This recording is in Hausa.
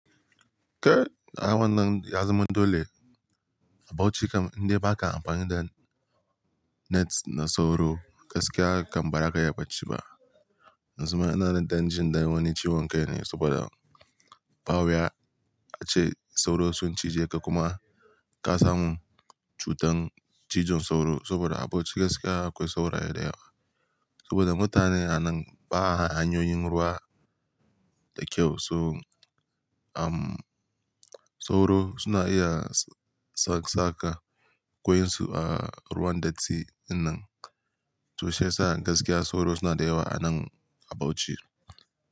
Kai, awon nan ya zama dole a Bauchi kam inda ba ka amfani da nets na sauro, gaskiya kam ba za ka iya bacci ba. Na suma ina da danger dan wani ciwon kai ne saboda ba wuya ace sauro sun cije ka kuma ka samu cutar cizon sauro saboda a Bauchi gaskiya akwai sauro da yawa. Saboda mutane a nan ba a hanyoyin ruwa da kyau, so, um, sauro suna iya s-saka ƙwai su a ruwan datti in nan. To sai sa gaskiya sauro suna da yawa a nan a Bauchi.